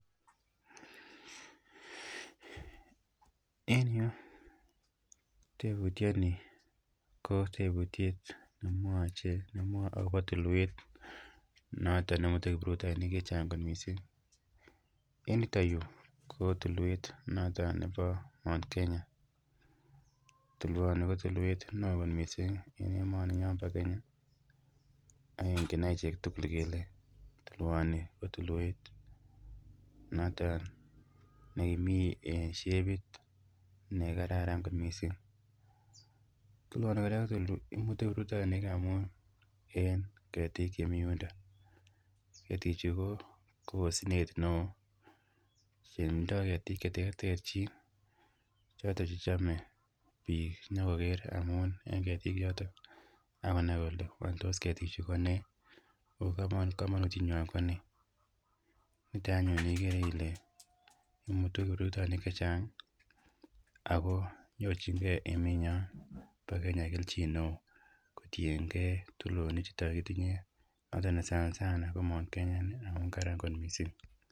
En yu tebutioni ko tebutiet nemwoe akopo tulwet noton nemuti kiprutoinik chechang kot missing, en yuton yu ko tulwet noton ne bo Mount Kenya tulwoni koo tulwet noton ne oo kot missing en emoninyon bo kenya akingen achek tukul kele tulwoni ko tulwet noton neimii en shepit noton nekararan kot missing imutu kiprutoinikab ngweny en ketik chemiyundon, ketichu koo osnet ne oo eeh tindoo ketik cheterterchin choton chechome biik inyokoker amun en ketichoton akonai kole wany ketichu kotos nee ako komonutienywany konee niton anyun iker ile imutu kiprutoinik chechang akoo nyorchingee emenyon bo kenya kelchin neo kotiengee tulonichuto kitinyee ako sanasana ko Mount Kenya amun karan kot missing.